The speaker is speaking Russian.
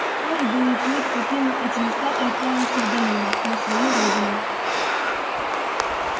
вскоре белый клык покинул эти места и отправился в долину на свою родину